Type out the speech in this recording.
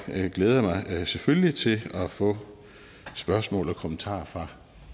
glæder mig selvfølgelig til at få spørgsmål og kommentarer fra